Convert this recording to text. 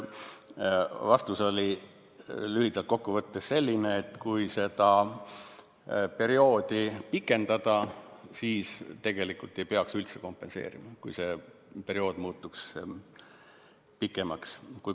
Vastus oli lühidalt kokku võttes selline: kui seda perioodi pikendada, siis tegelikult ei peaks üldse kompenseerima.